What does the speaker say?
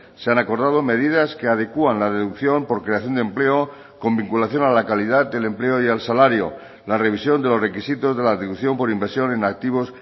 se han acordado medidas que adecuan la deducción por creación de empleo con vinculación a la calidad del empleo y al salario la revisión de los requisitos de la deducción por inversión en activos